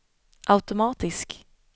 automatisk